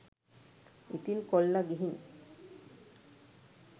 ඉතින් කොල්ල ගිහින්